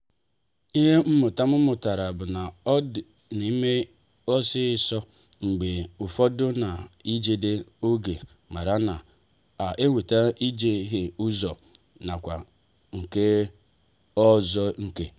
ịhe mmụta m mụtara bụ na ime ihe ọsọ ọsọ mgbe ụfọdụ ná-ejide oge mana ọ na-eweta ijehie ụzọ n'akụkụ nke ọzọ nke.